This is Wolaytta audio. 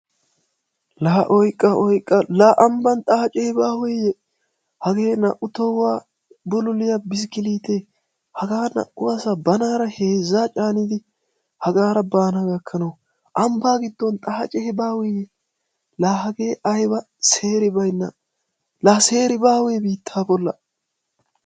La oyqqa! Oyqqa! La ambban xaace baaweye? Hage naa"u tohuwa bululliya biskkilittee hagaa naa"u asaa banaara heezza caanidi hagaara baana gakanaw ambbaa giddon xaace baaweye! La hage aybba seeribaynna, la seeri baawe biitta bollan.